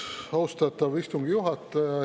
Austatav istungi juhataja!